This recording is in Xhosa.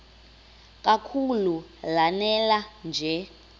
kakhulu lanela nje